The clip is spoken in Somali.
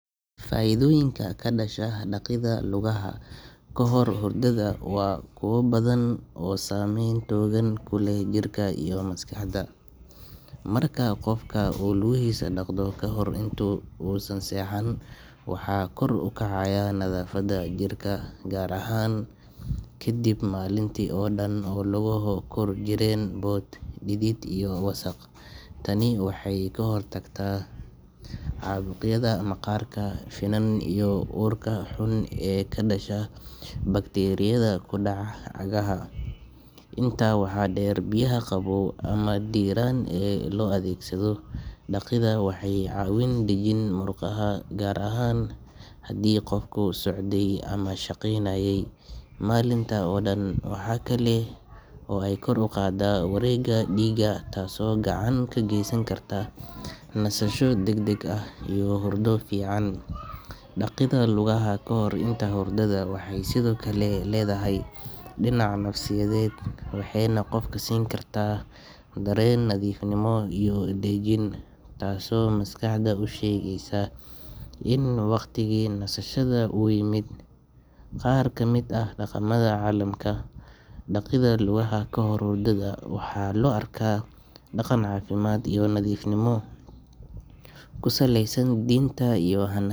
Faa’iidooyinka ka dhasha dhaqidda lugaha kahor hurdada waa kuwo badan oo saameyn togan ku leh jirka iyo maskaxda. Marka qofka uu lugihiisa dhaqdo kahor inta uusan seexan, waxaa kor u kacaya nadaafadda jirka, gaar ahaan kadib maalintii oo dhan oo lugaha ku jireen boodh, dhidid iyo wasakh. Tani waxay ka hortagtaa caabuqyada maqaarka, finan iyo urka xun ee ka dhasha bakteeriyada ku dhaca cagaha. Intaa waxaa dheer, biyaha qabow ama diiran ee loo adeegsado dhaqidda waxay caawiyaan dejinta murqaha, gaar ahaan haddii qofku socday ama shaqaynayay maalinta oo dhan. Waxa kale oo ay kor u qaaddaa wareegga dhiigga taasoo gacan ka geysan karta nasasho degdeg ah iyo hurdo fiican. Dhaqidda lugaha kahor hurdada waxay sidoo kale leedahay dhinac nafsiyeed, waxayna qofka siin kartaa dareen nadiifnimo iyo dejin, taasoo maskaxda u sheegaysa in waqtigii nasashada uu yimid. Qaar ka mid ah dhaqamada caalamka, dhaqidda lugaha kahor hurdada waxaa loo arkaa dhaqan caafimaad iyo nadiifnimo ku saleysan diinta iyo hannaan.